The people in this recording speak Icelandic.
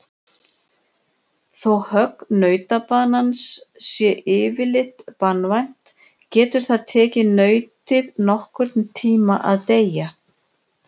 Þó högg nautabanans sé yfirleitt banvænt getur það tekið nautið nokkurn tíma að deyja.